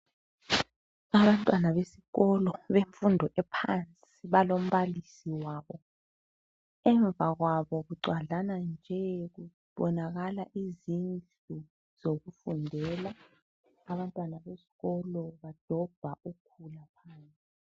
Abantwana besikolo bemfundo ephansi balombalisi wabo. Emva kwabo kugcwadlana nje kubonakala izindlu zokufundela. Abantwana besikolo badobha ukhula.